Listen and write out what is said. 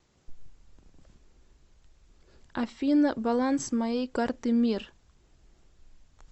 афина баланс моей карты мир